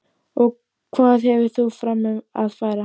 Og hvað hefur þú fram að færa?